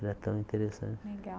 Era tão interessante. Legal